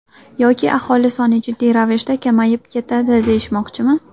Yoki aholi soni jiddiy ravishda kamayib ketadi deyishmoqchimi?